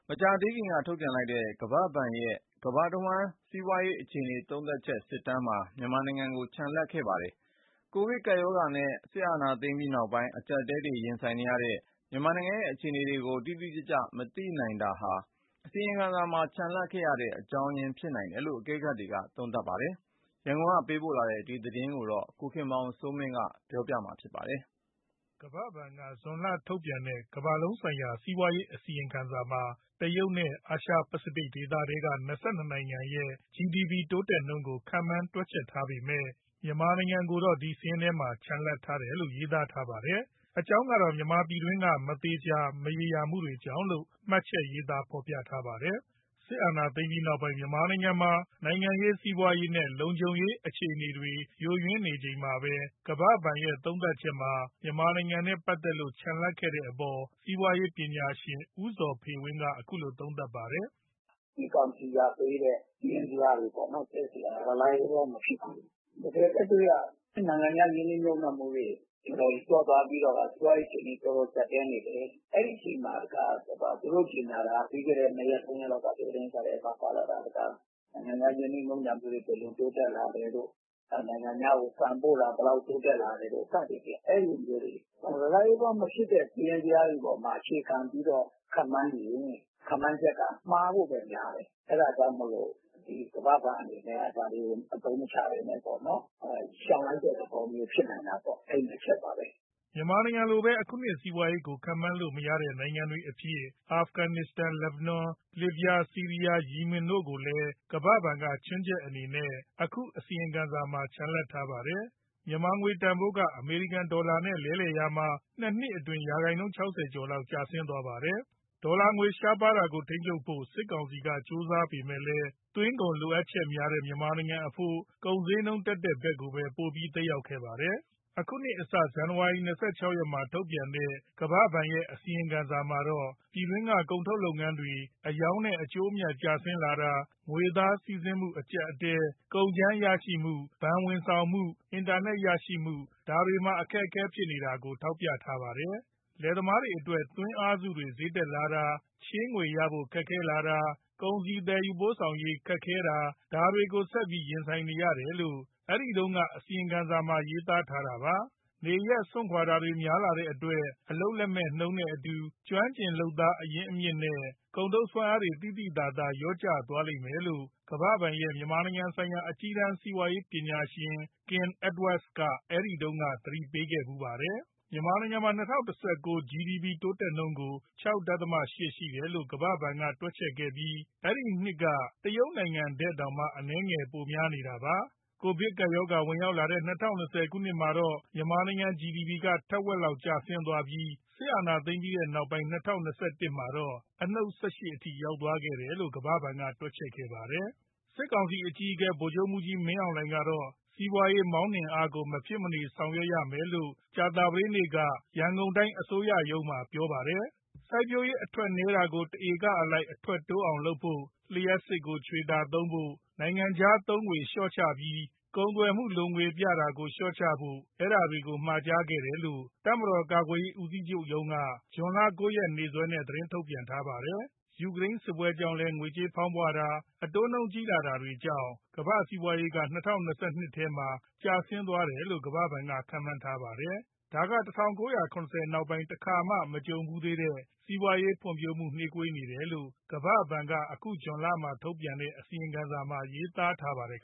မကြာသေးခင်က ထုတ်ပြန်လိုက်တဲ့ ကမ္ဘာ့ဘဏ်ရဲ့ ကမ္ဘာတဝှမ်း စီးပွားရေး အခြေအနေ သုံးသပ်ချက် ၄ လပတ် အစီရင်ခံစာမှာ မြန်မာနိုင်ငံကို ချန်လှပ်ထားခဲ့ပါတယ်။ ကိုဗစ်ကပ်ရောဂါနဲ့ စစ်အာဏာသိမ်းပြီးနောက်ပိုင်း အကျပ်အတည်းတွေ ရင်ဆိုင်နေရတဲ့ မြန်မာနိုင်ငံရဲ့ အခြေအနေတွေကို တိတိကျကျ မသိနိုင်တာဟာ အစီရင်ခံစာမှာ ချန်လှပ်ခဲ့ရတဲ့ အကြောင်းရင်းတခု ဖြစ်နိုင်တယ်လို့လည်း အကဲခတ်တွေက ခန့်မှန်းပါတယ်။ ဒီအကြောင်း ရန်ကုန်ကပေးပို့တဲ့ သတင်းကိုတော့ ကိုခင်မောင်စိုးမင်း ပြောပြပေးမှာ ဖြစ်ပါတယ်။ ကမ္ဘာ့ဘဏ်က သူ့ရဲ့ဇွန်လမှာထုတ်ပြန်တဲ့ ကမ္ဘာလုံးဆိုင်ရာ စီးပွားရေး အစီရင်ခံစာမှာ တရုတ်နဲ့ အာရှပစိဖိတ်ဒေသထဲက ၂၂နိုင်ငံရဲ့ GDP တိုးတက်နှုန်းကို ခန့်မှန်းတွက်ချက်ထားပေမဲ့ မြန်မာနိုင်ငံကိုတော့ ဒီစာရင်းထဲမှာ ချန်လှပ်ထားခဲ့တယ်လို့ ရေးသားထားပါတယ်။ အကြောင်းကတော့ မြန်မာပြည်တွင်းက မသေချာ၊ မရေရာမှုတွေကြောင့်လို့ မှတ်ချက်ရေးသား ဖော်ပြထားပါတယ်။ စစ်အာဏာသိမ်းပြီးနောက်ပိုင်း မြန်မာနိုင်ငံမှာ နိုင်ငံရေး၊ စီးပွားရေးနဲ့ လုံခြုံရေးအခြေအနေတွေ ယိုယွင်းနေချိန်မှာပဲ ကမ္ဘာ့ဘဏ်ရဲ့ သုံးသပ်ချက်မှာ မြန်မာနိုင်ငံနဲ့ ပတ်သက်လို့ ချန်လှပ်ခဲ့တဲ့အပေါ် စီးပွားရေးပညာရှင် ဦးဇော်ဖေဝင်းက အခုလို သုံးသပ်ပါတယ်။ " စစ်ကောင်စီကပေးတဲ့ စာရင်းဇယားတွေက reliable မဖြစ်ဘူး။ တကယ်လက်တွေ့က နိုင်ငံခြား ရင်းနှီးမြှုပ်နှံမှုတွေ တော်တော်လျော့သွားပြီးတော့ စီးပွားရေးအခြေအနေ တော်တော်ကျပ်တည်းနေတယ်။ သူတို့ကြေညာတာ ပြီးခဲ့တဲ့နှစ်ရက်သုံးရက်က သတင်းစာထဲမှာ နိုင်ငံခြားရင်းနှီးမြှုပ်နှံမှုတွေ ဘယ်လိုတိုးတက်လာတယ်တို့ နိုင်ငံခြားကိုဆန်ပို့တာ ဘယ်လောက်တိုးတက်လာတယ်တို့ စသည်ဖြင့် အဲဒီလို reliable မဖြစ်တဲ့ စာရင်းဇယားတွေအပေါ်မှာ အခြေခံပြီးတော့ ခန့်မှန်းယူရင် ခန့်မှန်းချက်က မှားဖို့ပဲများတယ်။ အဲဒါကြောင့်မို့လို့ ကမ္ဘာ့ဘဏ်အနေနဲ့က ဒါတွေကို အသုံးမချဘဲနဲ့ပေါ့ ရှောင်လိုက်တဲ့သဘောမျိုး ဖြစ်နိုင်တာပေါ့။ အဲဒီနှစ်ချက်ပါပဲ။" မြန်မာလိုဘဲ အခုနှစ် စီးပွားရေးကို ခန့်မှန်းလို့မရနိုင်တဲ့ နိုင်ငံတွေအဖြစ် အာဖဂန်နစ္စတန်၊ လီဘနွန်၊ လစ်ဗျား၊ ဆီးရီးယား၊ ယီမင်တို့ကိုလည်း ကမ္ဘာဘဏ်က ချွင်းချက်အနေနဲ့ အခုအစီရင်ခံစာမှာ ချန်လှပ်ထားခဲ့တာပါ။ မြန်မာငွေတန်ဖိုးက အမေရိကန်ဒေါ်လာနဲ့ လဲလှယ်တာမှာ ၂နှစ်အတွင်း ရာခိုင်နှုန်း ၆၀ကျော်လောက် ကျသွားပါတယ်။ ဒေါ်လာငွေ ရှားပါးတာကိုထိန်းချုပ်ဖို့ စစ်ကောင်စီဘက်က ကြိုးစားပေမဲ့လည်း သွင်းကုန်လိုအပ်ချက်များတဲ့ မြန်မာနိုင်ငံအဖို့ ကုန်ဈေးနှုန်းတက်တဲ့ဘက်ကိုပဲ ပိုပြီးသက်ရောက်ခဲ့ပါတယ်။ အခုနှစ်အစ ဇန်နဝါရီ ၂၆ရက်မှာ ထုတ်ပြန်ခဲ့တဲ့ ကမ္ဘာ့ဘဏ်ရဲ့ အစီရင်ခံစာမှာတော့ ပြည်တွင်းက ကုန်ထုတ်လုပ်ငန်းတွေ အရောင်းနဲ့ အကျိုးအမြတ်ကျလာတာ၊ ငွေသားစီးဆင်းမှု အကျပ်အတည်း၊ ကုန်ကြမ်းရရှိမှု၊ ဘဏ်ဝန်ဆောင်မှု၊ အင်တာနက်ရရှိမှု ဒါတွေမှာ အခက်ခဲဖြစ်နေတာတွေကို ထောက်ပြထားပါတယ်။ လယ်သမားတွေအတွက် သွင်းအားစုတွေ ဈေးတက်လာတာ၊ ချေးငွေရဖို့ခက်ခဲတာ၊ ကုန်စည်သယ်ယူရေးခက်ခဲတာ ဒါတွေကို ဆက်ပြီးရင်ဆိုင်နေရတယ်လို့ အဲဒီတုန်းက အစီရင်ခံစာမှာ ရေးသားထားတာပါ။ နေရပ်စွန့်ခွာတာတွေ များလာတဲ့အတွက် အလုပ်လက်မဲ့နှုန်းနဲ့အတူ ကျွမ်းကျင် လုပ်သားရင်းမြစ်နဲ့ ကုန်ထုတ်စွမ်းအားတွေ သိသိသာသာ လျော့ကျသွားလိမ့်မယ်လို့ ကမ္ဘာ့ဘဏ်ရဲ့ မြန်မာနိုင်ငံဆိုင်ရာ အကြီးတန်း စီးပွားရေးပညာရှင် Kim Edwards က အဲဒီတုန်းက သတိပေးခဲ့တာပါ။ မြန်မာနိုင်ငံရဲ့ ၂၀၁၉ GDP တိုးတက်နှုန်းကို ၆.၈ ရှိတယ်လို့ ကမ္ဘာ့ဘဏ်က တွက်ချက်ခဲ့ပြီး အဲဒီနှစ် တရုတ်နိုင်ငံထက်တောင် အနည်းငယ်များနေတာပါ။ ကိုဗစ်ရောဂါဝင်လာတဲ့ ၂၀၂၀ မှာတော့ မြန်မာ့ GDP ကထက်ဝက်လောက်ကျသွားပြီး စစ်အာဏာသိမ်းပြီးနောက်ပိုင်း ၂၀၂၁ မှာတော့ အနှုတ် ၁၈အထိ ရောက်ခဲ့တယ်လို့ ကမ္ဘာ့ဘဏ်က တွက်ချက်ခဲ့ပါတယ်။ စစ်ကောင်စီအကြီးအကဲ ဗိုလ်ချုပ်မှူးကြီး မင်းအောင်လှိုင်ကတော့ စီးပွားရေးမောင်းနှင်အားကို မဖြစ်မနေဆောင်ရွက်ရမယ်လို့ ကြာသပတေးနေ့က ရန်ကုန်တိုင်း အစိုးရအဖွဲ့ရုံးမှာ ပြောပါတယ်။ စိုက်ပျိုးရေးအထွက်နည်းနေတာကို တဧကအလိုက် အထွက်တိုးအောင်လုပ်ဖို့၊ လျှပ်စစ်ကိုချွေတာသုံးဖို့၊ နိုင်ငံခြားသုံးငွေလျှော့ချပြီး ကုန်သွယ်မှုလိုငွေပြတာကို လျှော့ချဖို့ ဒါတွေကိုမှာကြားခဲ့တယ်လို့ တပ်မတော်ကာကွယ်ရေး ဦးစီးချုပ်ရုံးက ဇွန်လ၉ရက်နေ့စွဲနဲ့ သတင်းထုတ်ပြန်ထားပါတယ်။ ယူကရိန်းစစ်ပွဲကြောင့်လည်း ငွေဖောင်းပွတာ၊ အတိုးနှုန်းကြီးလာတာတွေကြောင့် ကမ္ဘာ့စီးပွားရေးက ၂၀၂၂ ထဲမှာ ကျသွားနိုင်တယ်လို့ ကမ္ဘာ့ဘဏ်က ခန့်မှန်းပါတယ်။ ဒါက ၁၉၇၀ နောက်ပိုင်းတခါမှ မကြုံဖူးသေးတဲ့ စီးပွားရေးဖွံ့ဖြိုးမှုတွေ နှေးကွေးနေတယ်လို့ ကမ္ဘာ့ဘဏ်က အခုဇွန်လမှာထုတ်ပြန်တဲ့ အစီရင်ခံစာမှာ ရေးသားထားပါတယ်